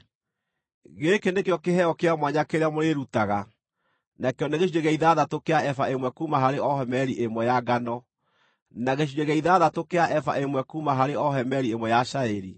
“ ‘Gĩkĩ nĩkĩo kĩheo kĩa mwanya kĩrĩa mũrĩĩrutaga: Nakĩo nĩ gĩcunjĩ gĩa ithathatũ kĩa eba ĩmwe kuuma harĩ o homeri ĩmwe ya ngano, na gĩcunjĩ gĩa ithathatũ kĩa eba ĩmwe kuuma harĩ o homeri ĩmwe ya cairi.